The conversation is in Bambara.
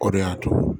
O de y'a to